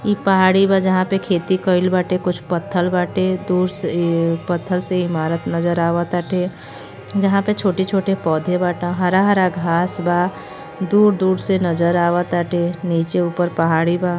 ई पहाड़ी बा जहाँ पे खेती कईल बाटे। कुछ पत्थल बाटे। दूर से पत्थल से इमारत नज़र आवताटे। जहाँ पे छोटे-छोटे पौधे बाट। हरा-हरा घास बा। दूर-दूर से नज़र आवताटे। नीचे-ऊपर पहाड़ी बा।